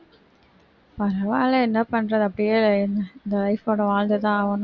பரவாயில்லை என்ன பண்றது அப்படியே இந்த life ஓட வாழ்ந்துதான் ஆவணும்